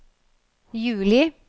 juli